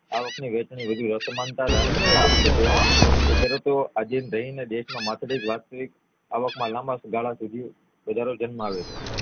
આવક ની વહેંચણી બધી અસમાનતા ધારણ કરી ના શકે તે સરતો આજે દેશ માં માથાદિથ વાસ્તિક અવાક માં લાંબાગાળા સુધી વધારો જન્માવે છે